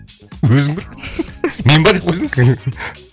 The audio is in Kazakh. өзің біл мен ба деп қойсаңшы